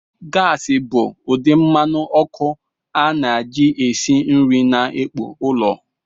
Gasi bụ ụdị mmanụ ọkụ a na-eji esi nri na ikpo ụlọ.